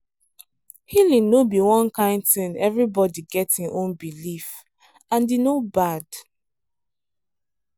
healing no be one kind thing everybody get hin own belief and e no bad.